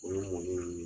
O ye mɔni ye